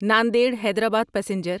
Nanded Hyderabad passenger